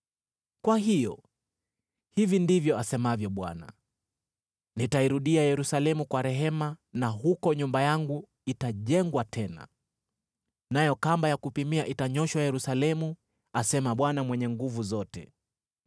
“Kwa hiyo, hivi ndivyo asemavyo Bwana : ‘Nitairudia Yerusalemu kwa rehema na huko nyumba yangu itajengwa tena. Nayo kamba ya kupimia itanyooshwa Yerusalemu,’ asema Bwana Mwenye Nguvu Zote.